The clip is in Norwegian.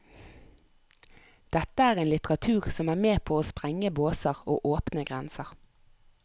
Dette er en litteratur som er med på å sprenge båser og åpne grenser.